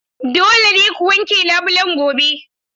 Dole ne ku wanke labulen gobe.